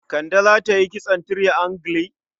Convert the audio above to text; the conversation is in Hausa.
Kande za ta yi kitson triangle?